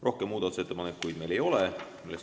Rohkem muudatusettepanekuid meil ei ole.